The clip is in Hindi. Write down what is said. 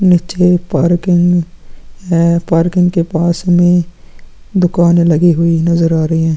निचे पार्किंग है पार्किंग के पास में दुकाने लगी हुई नजर आ रही है।